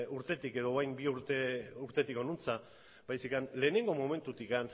urtetik edo orain bi urtetik honantz baizik eta lehenengo momentutik